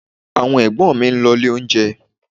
Àwọn Ẹ̀gbọ́n mi ń lọ ilé oúnjẹ